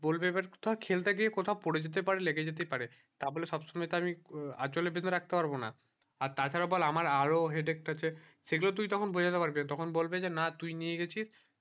বলবে এইবার ধর খেলতে গিয়ে কোথাও পরে যেতে পারে লেগে যাতে পারে তাই হলে সব সময়ে আমি আঁচলে বেঁধে রাখতে পারবো না আর তার ছাড়া বল আমার আরও headache আছে সেই গুলো তুই তখন বোঝাতে পারবি না তখন বলবে না তুই নিয়ে গেছিস